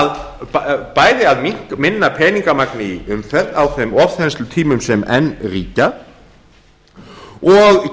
að stuðla að bæði minna peningamagni í umferð á þeim ofþenslutímum sem enn ríkja og